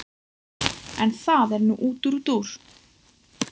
En það er nú útúrdúr.